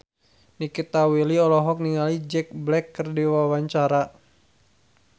Nikita Willy olohok ningali Jack Black keur diwawancara